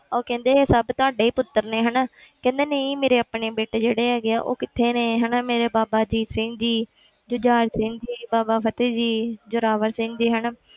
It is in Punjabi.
ਉਹ ਕਹਿੰਦੇ ਇਹ ਸਭ ਤੁਹਾਡੇ ਹੀ ਪੁੱਤਰ ਨੇ ਹਨਾ ਕਹਿੰਦੇ ਨਹੀਂ ਮੇਰੇ ਆਪਣੇ ਬੇਟੇ ਜਿਹੜੇ ਹੈਗੇ ਆ ਉਹ ਕਿੱਥੇ ਨੇ ਹਨਾ ਮੇਰੇ ਬਾਬਾ ਅਜੀਤ ਸਿੰਘ ਜੀ ਜੁਝਾਰ ਸਿੰਘ ਜੀ, ਬਾਬਾ ਫਤਿਹ ਜੀ, ਜੋਰਾਵਰ ਸਿੰਘ ਜੀ ਹਨਾ